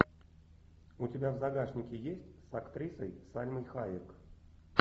у тебя в загашнике есть с актрисой сальмой хайек